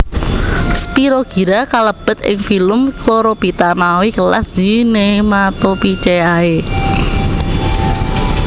Spirogyra kalebet ing filum Chlorophyta mawi kelas Zygnematophyceae